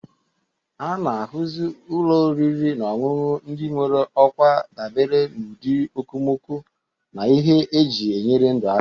A na-ahazi ụlọ oriri na ọṅụṅụ ndị nwere okwa dabere n'ụdị okomoko na ihe eji enyere ndụ aka.